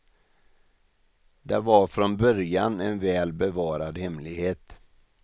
Det var från början en väl bevarad hemlighet.